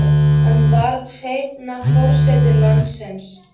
Hann varð seinna forseti landsins.